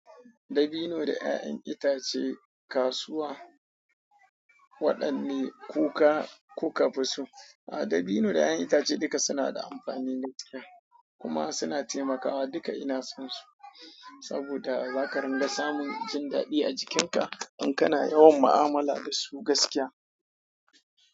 Dabino da 'ya'yan itace, kasuwa waɗanni kuka fi so? A, dabino da 'ya'yan itace duka suna da amfani gaskiya kuma suna taimakawa. Duka ina son su saboda za ka ringa samun jin daɗi a jikinka in kana yawan mu'amala da su gaskiya.